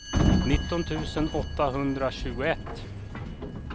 nitton tusen åttahundratjugoett